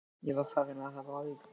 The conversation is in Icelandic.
Ég var farinn að hafa áhyggjur af þér.